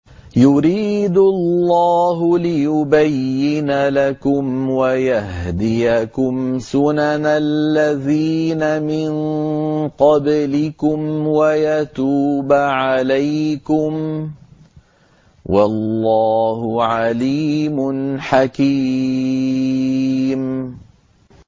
يُرِيدُ اللَّهُ لِيُبَيِّنَ لَكُمْ وَيَهْدِيَكُمْ سُنَنَ الَّذِينَ مِن قَبْلِكُمْ وَيَتُوبَ عَلَيْكُمْ ۗ وَاللَّهُ عَلِيمٌ حَكِيمٌ